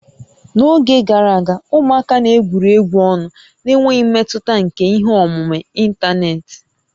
N'oge gara aga, ụmụaka na-egwuri egwu ọnụ n'enweghị mmetụta nke ihe omume ịntanetị